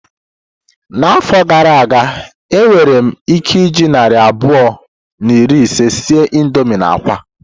N'afọ gara aga, enwere m ike iji narị naira abụọ na iri ise sie indomii na akwa.